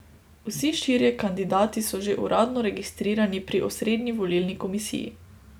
Vsi štirje kandidati so že uradno registrirani pri Osrednji volilni komisiji.